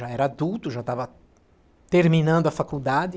Já era adulto, já estava terminando a faculdade.